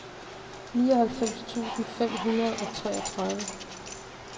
nioghalvfems tusind fem hundrede og treogtredive